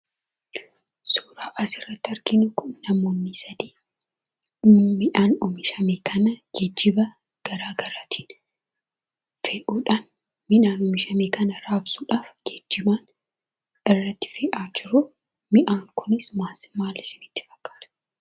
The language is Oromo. Suuraan asirratti arginu kun namoonni sadii midhaan oomishame kana geejjiba garaa garaatiin fe'uudhaan midhaan oomishame kana raabsuudhaaf geejjiba irratti fe'aa jiru. Midhaan kunis maal maal isinitti fakkaata?